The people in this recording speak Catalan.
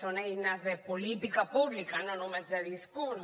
són eines de política pública no només de discurs